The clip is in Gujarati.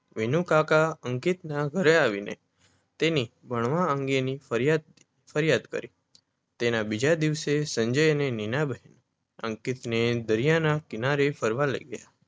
વિનુકાકા અંકિતના ઘરે આવીને તેની ભણવા અંગેની ફરિયાદ કરી. તેના બીજા દિવસે સંજય અને નીનાબહેન અંકિતને દરિયાના કિનારે ફરવા લય ગયા